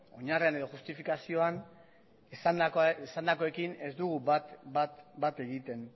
oinarrian edo justifikazioan esandakoekin ez dugu bat egiten